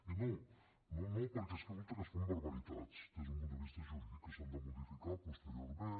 i no no no perquè resulta que es fan barbaritats des d’un punt de vista jurídic que s’han de modificar posteriorment